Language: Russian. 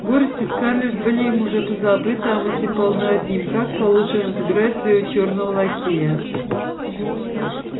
горести скарлетт были им уже позабыты а мысли полны одним как получше разыграть своего чёрного лакея